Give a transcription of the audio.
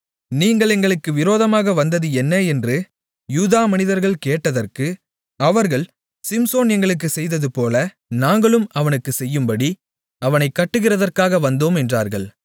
நீங்கள் எங்களுக்கு விரோதமாக வந்தது என்ன என்று யூதா மனிதர்கள் கேட்டதற்கு அவர்கள் சிம்சோன் எங்களுக்குச் செய்ததுபோல நாங்களும் அவனுக்குச் செய்யும்படி அவனைக் கட்டுகிறதற்காக வந்தோம் என்றார்கள்